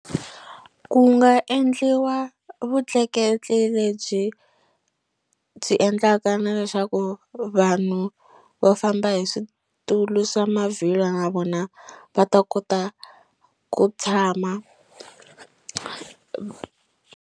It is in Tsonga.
Ku nga endliwa vutleketli lebyi byi endlaka na leswaku vanhu va famba hi switulu swa mavhilwa na vona va ta kota ku tshama.